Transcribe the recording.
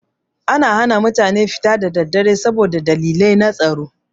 Ana hana mutane fita da daddare saboda dalilai na tsaro.